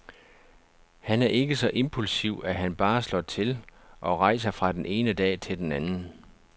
Han er ikke så impulsiv, at han bare slår til og rejser fra den ene dag til den anden.